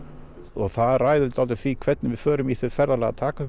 og það ræður dálítið því hvernig við förum í það ferðalag að taka upp